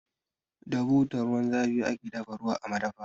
Da butar ruwan zafi ake dafa ruwa a madafa.